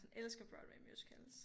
Sådan elsker Broadway musicals